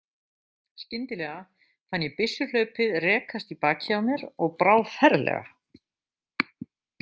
Skyndilega fann ég byssuhlaupið rekast í bakið á mér og brá ferlega.